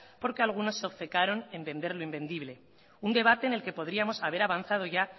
porque algunos se obcecaron en vender lo invendible un debate en el que podríamos haber avanzado ya